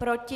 Proti?